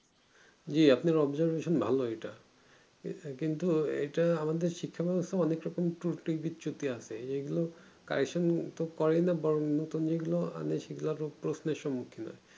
জি আপনার observation ভালোই এটা কিন্তু এটা আমাদের শিক্ষা ব্যবস্থা অনেক রকম ক্রটি বিচ্যুতি আছে এইগুলো kyson তো করে না বরং নুতুন যেগুলো আনে সেগুলো আরো বড়ো প্রশ্নের সম্মুখীন হই